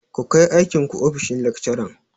Ku kai aikin ku ofishin lekcaran!